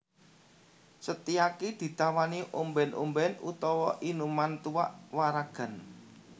Setyaki ditawani ombèn ombèn utawa inuman tuak waragan